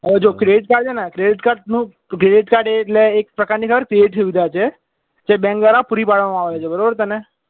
હવે જો credit card છે ને credit card નું credit card એ એટલે એક પ્રકાર ની સુવિધા છે જે bank દ્વારા પુરી પાડવામાં આવે છે બરાબર